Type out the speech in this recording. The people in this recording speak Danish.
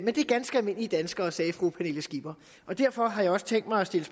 det er ganske almindelige danskere sagde fru pernille skipper derfor har jeg også tænkt mig at stille